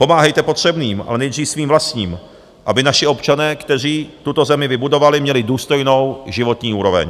Pomáhejte potřebným, ale nejdřív svým vlastním, aby naši občané, kteří tuto zemi vybudovali, měli důstojnou životní úroveň.